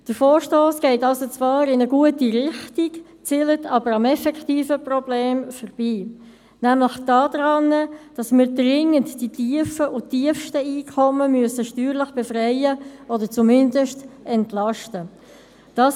Der Vorstoss geht zwar in eine gute Richtung, zielt aber am effektiven Problem vorbei, weswegen wir nämlich dringend die tiefen und tiefsten Einkommen steuerlich befreien oder zumindest entlasten müssen.